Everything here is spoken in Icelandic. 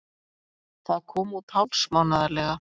Það kom út hálfsmánaðarlega.